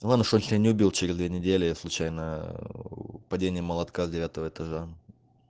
вон что не убил через две недели я случайно падение молотка с девятого этажа